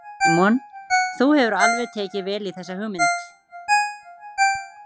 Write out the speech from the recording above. Símon: Þú hefur alveg tekið vel í þessa hugmynd?